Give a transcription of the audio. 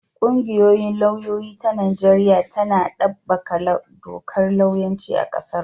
Ƙungiyar lauyoyi ta Najeriya tana ɗabbaƙa dakar lauyanci a ƙasarmu.